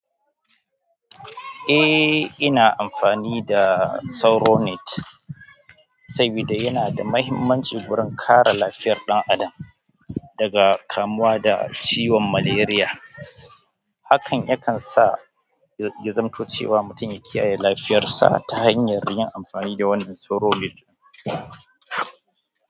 Eh, ina amfani da SauroNet, saboda yana da mahimmanci wurin kare lafiyar ɗan adam daga kamuwa da ciwon malaria. Hakan yakan sa ya zamanto cewa mutum ya kiyaye lafiyar sa ta hanyar yin amfani da wannan SauroNet.